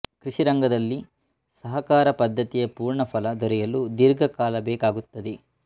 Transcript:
ಕೃಷಿರಂಗದಲ್ಲಿ ಸಹಕಾರ ಪದ್ಧತಿಯ ಪೂರ್ಣ ಫಲ ದೊರೆಯಲು ದೀರ್ಘಕಾಲ ಬೇಕಾಗುತ್ತದೆ